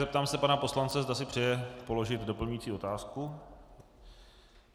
Zeptám se pana poslance, zda si přeje položit doplňující otázku.